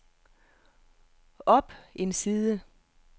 op en side